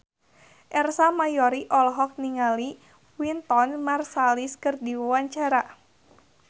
Ersa Mayori olohok ningali Wynton Marsalis keur diwawancara